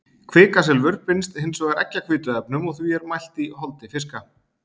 Kvikasilfur binst hins vegar eggjahvítuefnum og er því mælt í holdi fiska.